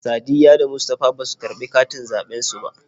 Sadiyya da Mustapha basu karɓi katin zaɓen su ba.